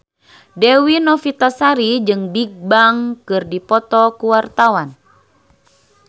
Dewi Novitasari jeung Bigbang keur dipoto ku wartawan